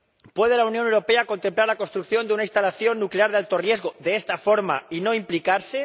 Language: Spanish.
¿Puede la Unión Europea contemplar la construcción de una instalación nuclear de alto riesgo, de esta forma, y no implicarse?